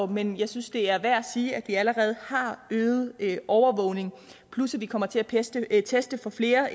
men jeg synes det er værd at sige at vi allerede har øget overvågningen plus at vi kommer til at teste at teste for flere